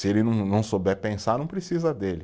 Se ele não não souber pensar, não precisa dele.